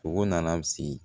Fogo nana si